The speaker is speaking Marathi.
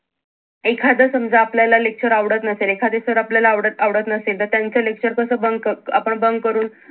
एखाद समजा आपल्याला lecture आवडत नसेल एखादे sir आपल्याला आवडत आवडत नसतील तर त्यांच्या lecture कस bunk क करून आपण bunk करून